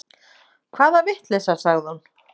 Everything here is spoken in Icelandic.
Hvaða vitleysa, sagði hún.